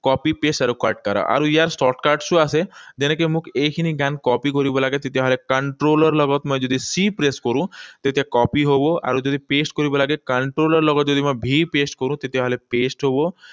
Copy paste আৰু cut কৰা। আৰু ইয়াৰ shortcuts ও আছে। যেনেকৈ মোক এইখিনি গান copy কৰিব লাগে, তেতিয়াহলে control ৰ লগত যদি মই C press কৰোঁ, তেতিয়া copy হব। আৰু যদি paste কৰিব লাগে, control ৰ লগত যদি মই V press কৰোঁ, তেতিয়াহলে paste হব।